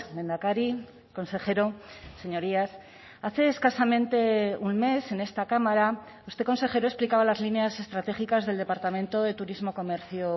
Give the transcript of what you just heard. lehendakari consejero señorías hace escasamente un mes en esta cámara este consejero explicaba las líneas estratégicas del departamento de turismo comercio